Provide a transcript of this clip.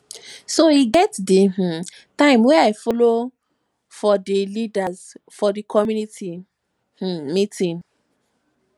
e get di um time wey i folo for di leaders for my community um meeting